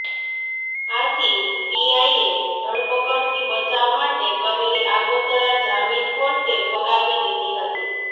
આથી પીઆઈએ ધરપકડથી બચાવ માટે કરેલી આગોતરા જામીન કોર્ટે ફગાવી દીધી હતી